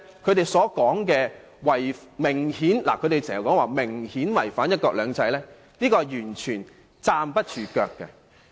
由此可見，他們指方案明顯違反"一國兩制"的說法完全不成立。